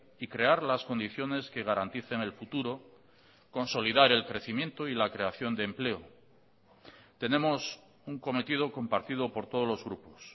y crear las condiciones que garanticen el futuro consolidar el crecimiento y la creación de empleo tenemos un cometido compartido por todos los grupos